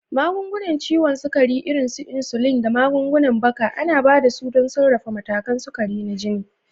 Magungunan ciwon sukari, irin su insulin da magungunan baka, ana ba da su don sarrafa matakan sukari na jini.